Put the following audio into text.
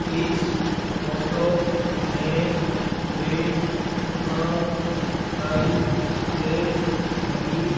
इस फोटो में एक दुकान दिखाई दे रही--